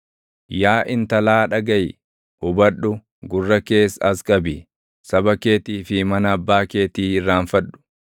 Yaa intalaa dhagaʼi; hubadhu; gurra kees as qabi; saba keetii fi mana abbaa keetii irraanfadhu.